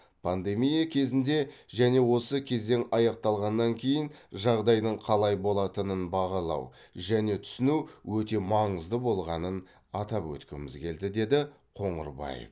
пандемия кезінде және осы кезең аяқталғаннан кейін жағдайдың қалай болатынын бағалау және түсіну өте маңызды болғанын атап өткіміз келді деді б қоңырбаев